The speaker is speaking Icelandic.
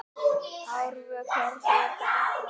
Árvök, hvernig er dagskráin?